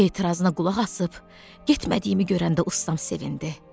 Etirazına qulaq asıb getmədiyimi görəndə ustam sevindi.